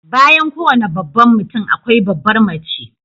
Bayan kowane babban mutum akwai babbar mace.